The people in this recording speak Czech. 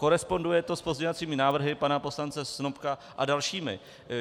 Koresponduje to s pozměňovacími návrhy pana poslance Snopka a dalšími.